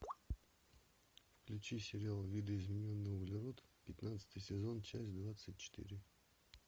включи сериал видоизмененный углерод пятнадцатый сезон часть двадцать четыре